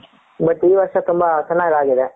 but ಈ ವರ್ಷ ತುಂಬಾ ಚೆನ್ನಾಗಿ ಆಗಿದೆ .